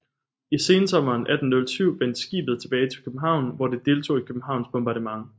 I sensommeren 1807 vendte skibet tilbage til København hvor det deltog i Københavns bombardement